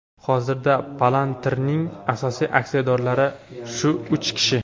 Hozirda Palantir’ning asosiy aksiyadorlari shu uch kishi.